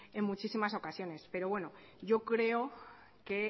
en muchísimas ocasiones pero bueno yo creo que